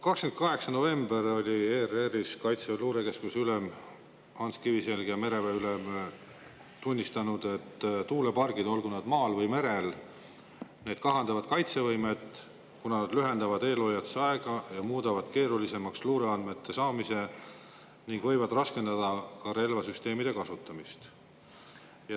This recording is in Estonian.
28. novembril tunnistasid ERR‑is Kaitseväe luurekeskuse ülem Ants Kiviselg ja mereväe ülem, et tuulepargid, olgu nad maal või merel, kahandavad kaitsevõimet, kuna nad lühendavad eelhoiatusaega, muudavad keerulisemaks luureandmete saamise ning võivad raskendada ka relvasüsteemide kasutamist.